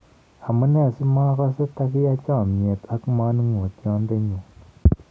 Amunee simogosee tagiyaa chomieet ak maningotiondenyun.